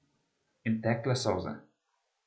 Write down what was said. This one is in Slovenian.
In tekle solze.